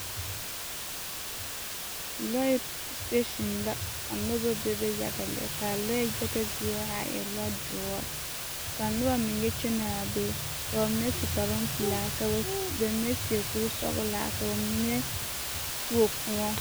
Lɔɛ siteesin la ka noba bebe yaga lɛ ka a lɔɛ yaga zie a are a e lɔdoɔre ka noba meŋ yɛ kyɛnaa be ka bamine su kparoŋ pelaa ka bamine seɛ kuri sɔgelaa ka bamine tuo kõɔ.